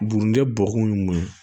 Bugunikɛ bɔgɔkun ye mun ye